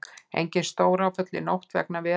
Engin stóráföll í nótt vegna veðurs